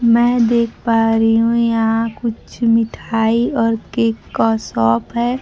मैं देख पा रही हूं यहां कुछ मिठाई और केक का शॉप है।